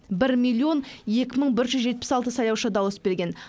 бір миллион екі мың бір жүз жетпіс алты сайлаушы дауыс берген